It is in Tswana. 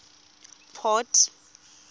port